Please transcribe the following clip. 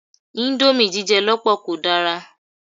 Íńdómì jíjẹ lọ́pọ̀ kò dára.